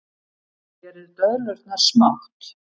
Skerið döðlurnar smátt.